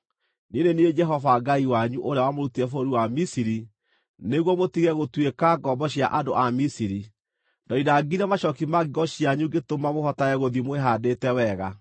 Niĩ nĩ niĩ Jehova Ngai wanyu, ũrĩa wamũrutire bũrũri wa Misiri, nĩguo mũtige gũtuĩka ngombo cia andũ a Misiri; ndoinangire macooki ma ngingo cianyu ngĩtũma mũhotage gũthiĩ mwĩhaandĩte wega.